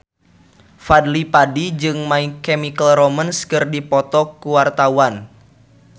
Fadly Padi jeung My Chemical Romance keur dipoto ku wartawan